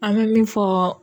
An bɛ min fɔ